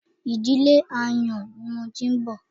Ìdílé ààyàn ni mo ti wá